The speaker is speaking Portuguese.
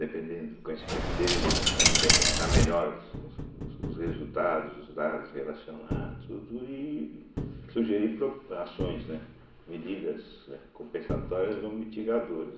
Dependendo do conhecimento dele, ele vai saber interpretar melhor os os os resultados, os dados relacionados, tudo e sugerir pro ações, né, medidas compensatórias ou mitigadoras.